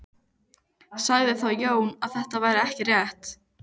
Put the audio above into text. Sagði þá Jón að þetta væri ekki rétt.